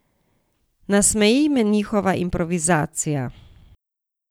Nasmeji me njihova improvizacija.